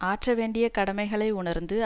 ஆற்ற வேண்டிய கடமைகளை உணர்ந்து